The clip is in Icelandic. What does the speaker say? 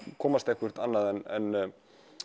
komast eitthvert annað en